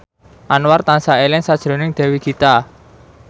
Anwar tansah eling sakjroning Dewi Gita